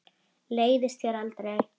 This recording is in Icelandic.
Leiðist þér aldrei?